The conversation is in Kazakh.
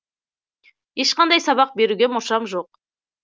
ешқандай сабақ беруге мұршам жоқ